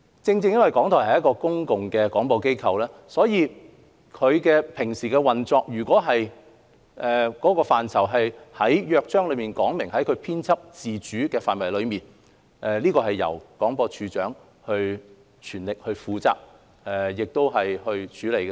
正正因為港台是一間公共廣播機構，其日常運作若屬於《港台約章》所述編輯自主的範圍，便由廣播處長全權負責和處理。